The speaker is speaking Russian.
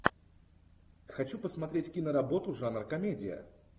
хочу посмотреть киноработу жанр комедия